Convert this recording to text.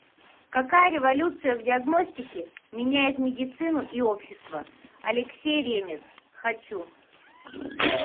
какая революция в диагностике меняет медицину и общество алексей ремез хочу